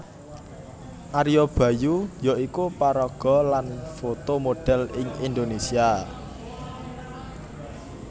Ario Bayu yaiku paraga lan foto modhèl ing Indonésia